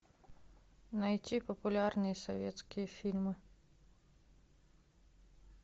найти популярные советские фильмы